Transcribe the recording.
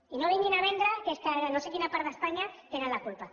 i no vinguin a vendre que és que no sé a quina part d’espanya tenen la culpa